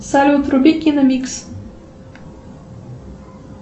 салют вруби киномикс